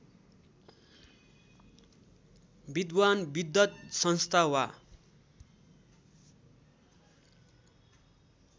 विद्वान् विद्वत संस्था वा